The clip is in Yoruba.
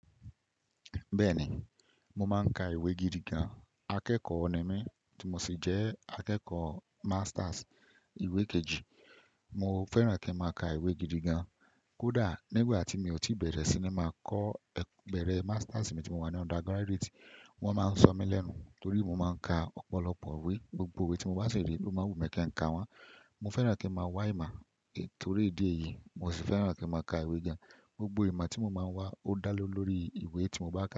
Bẹ́ẹ̀ni, mo máa ń ka ìwé gidi gan. Akẹ́kọ̀ọ́ ni mí tí mo sì jẹ́ akẹ́kọ̀ọ́ masters ìwé kejì. Mo fẹ́ràn kí n máa ka ìwé gidi gan. Kódà nígbà tí mi ò tí bẹ̀rẹ̀ sí ní máa kọ́ ẹgbẹ́rẹ́ masters mi tí mo wà ní undergraduate, wọ́n máa ń sọ mí lẹ́nu torí mo máa ń ka ọ̀pọ̀lọpọ̀ ìwé. Gbogbo ìwé tí mo bá ṣèlérí, ó máa wù mí kí n ka wọ́n. Mo fẹ́ràn kí n máa wá ìmọ̀ torí ìdí èyí, mo sì fẹ́ràn kí n máa ka ìwé gan. Gbogbo ìmọ̀ tí mo máa ń wá ó dá le ló lórí ìwé tí mo bá ka.